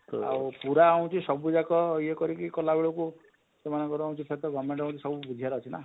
ଆଉ ପୁରା ହଉଛେ ସବୁ ଯାକ ଇଏ କରି କି କଲା ବେଳକୁ ସେମାଙ୍କର ହଉଛି ଫେର ତ govement ବୁଝିବାର ଅଛି ନା?